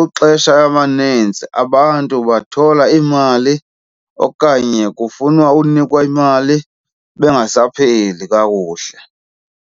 Ixesha amaninzi abantu bathola iimali okanye kufunwa unikwa imali bengasaphili kakuhle.